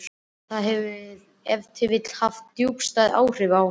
Það hefur ef til vill haft djúpstæð áhrif á hann.